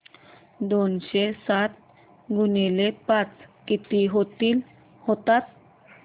दोनशे साठ गुणिले पाच किती होतात